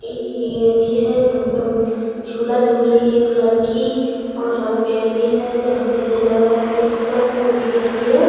ई ये अथी जहां पे झूला झूल रही है एक लड़की और यहां पे अथी हैं जहां पे अच्छा लग रहा है देख कर क्यूंकि अथी है।